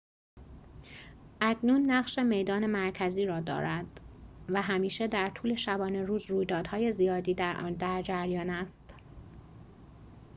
اکنون نقش میدان مرکزی را دارد و همیشه در طول شبانه روز رویدادهای زیادی در آن در جریان است